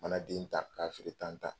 Mana den ta k'a feere tan tan.